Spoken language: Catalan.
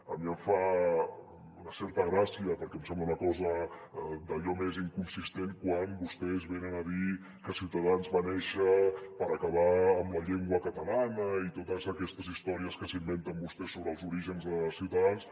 a mi em fa una certa gràcia perquè em sembla una cosa d’allò més inconsistent quan vostès venen a dir que ciutadans va néixer per acabar amb la llengua catalana i totes aquestes històries que s’inventen vostès sobre els orígens de ciutadans